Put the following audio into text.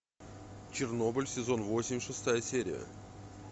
чернобыль сезон восемь шестая серия